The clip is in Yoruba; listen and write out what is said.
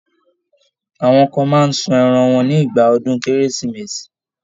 Àwọn kan máa ń sun ẹran wọn nígbà ọdún Kérésìmesì.